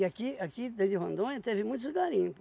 aqui aqui dentro de Rondônia teve muitos garimpo